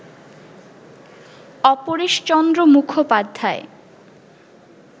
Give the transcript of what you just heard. Apareshchandra Mukhopadhyay